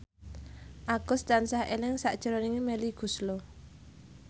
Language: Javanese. Agus tansah eling sakjroning Melly Goeslaw